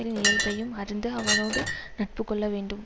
இயல்பையும் அறிந்து அவனேடு நட்பு கொள்ள வேண்டும்